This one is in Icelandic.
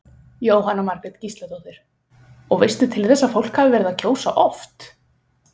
Jóhanna Margrét Gísladóttir: Og veistu til þess að fólk hafi verið að kjósa oft?